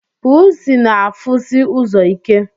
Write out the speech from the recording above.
Pusi na afụsi ụzọ ike.